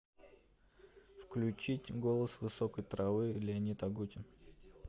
включить голос высокой травы леонид агутин